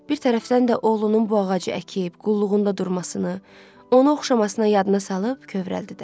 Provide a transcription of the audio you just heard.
Bir tərəfdən də oğlunun bu ağacı əkib qulluğunda durmasını, onu oxşamasına yadına salıb kövrəldi də.